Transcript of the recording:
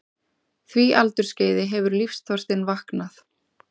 því aldursskeiði hefur lífsþorstinn vaknað.